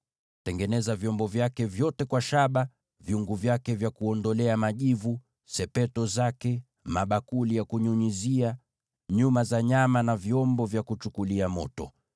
Tengeneza vyombo vyake vyote kwa shaba: vyungu vyake vya kuondolea majivu, masepetu, mabakuli ya kunyunyizia, uma za nyama, na vyombo vya kuchukulia moto.